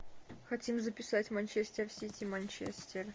хотим записать манчестер сити манчестер